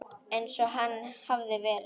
Eins og hann hafði verið.